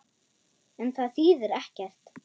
En það þýðir ekkert.